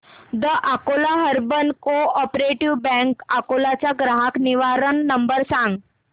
the Akola urban cooperative bank Akola चा ग्राहक निवारण नंबर सांग